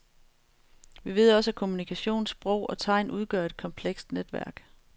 Vi ved også at kommunikation, sprog og tegn udgør et komplekst netværk.